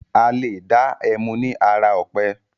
Alé dá ẹmu ni ara ọ̀pẹ.